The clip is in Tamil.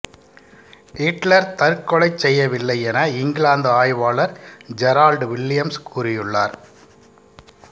இட்லர் தற்கொலைச் செய்யவில்லை என இங்கிலாந்து ஆய்வாளர் ஜெரால்டு வில்லியம்ஸ் கூறியுள்ளார்